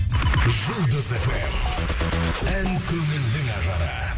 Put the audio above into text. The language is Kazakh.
жұлдыз фм ән көңілдің ажары